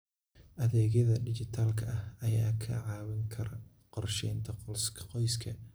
Adeegyada dijitaalka ah ayaa kaa caawin kara qorsheynta qoyska.